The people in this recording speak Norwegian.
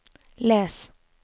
les